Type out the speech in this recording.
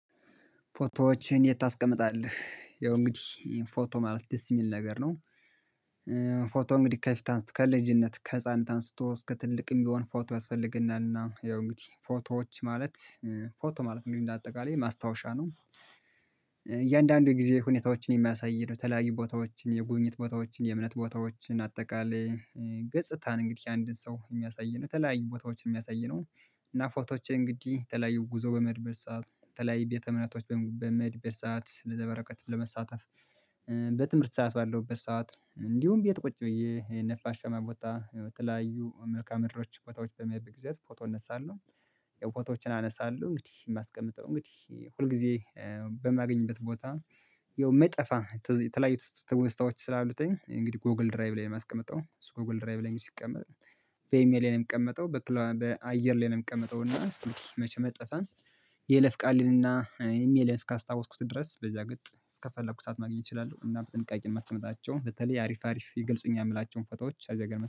ፎቶዎችን የት ታስቀምጣለህ? ያው እንግዲህ ፎቶ ማለት ደስ የሚል ነገር ነው ፎቶ እንግዲህ ከፊት አንስቶ ከልጅነት ከህፃን አንስቶ እስከ ትልቅ የሚሆን ፎቶ ያስፈልግናልና ያው እንግዲህ ፎቶዎች ማለት ፎቶ ማለት እንግዲህ እንደ አጠቃላይ ማስታወሻ ነው። እያንዳንዱ የጊዜ ሁኔታዎችን የሚያሳይ ነው ተለያዩ ቦታዎችን፣ የጉብኝት ቦታዎችን፣ የእምነት ቦታዎችን፣ አጠቃላይ ገጽታ ነው እንግዲህ አንድን ሰው የሚያሳይ ነው ተለያዩ ቦታዎች የሚያሳይ ነው እና ፎቶዎች እንግዲህ የተለያዩ ጉዞ በመድብር ሰዓት በተለያዩ ቤተ እምነቶች በመድብር ሰዓት እንደዛ ለበረከትም ለመሳተፍ በትምህርት ሰዓት ባለውበት ሰዓት እንዲሁም ቤት ቁጭ ብዬ ነፋሻማ ቦታ ተለያዩ መልካም መድሮች ቦታዎች በምሄድበት ጊዜያት ፎቶ እነሳለሁ። የፎቶዎችን አነሳለሁ እንግዲህ የማስቀምጠው እንግዲህ ሁል ጊዜ በማገኝበት ቦታ የማይጠፋ ተለያዩ ትውስታዎች ስላሉት እንግዲህ ጎግል ድራይቭ ላይ የማስቀምጠው እሱ ጎግል ድራይቭ ላይ ሲቀመጥ በኢሜል ላይ ነው የሚቀመጠው በአየር ላይ ነው የምቀመጠው እና መቼም የማይጠፋን የይለፍቃልንና ኢሜሌን እስካስታወስኩት ድረስ በዚያ ገጽ እስከፈለኩ ሰዓት ማግኘት እችላለሁ እና በጥንቃቄ ማስቀምጣቸውን በተለይ አሪፍ አሪፍ ይገልጹኛል የምላቸውን ፎቶዎች አዚያ ጋር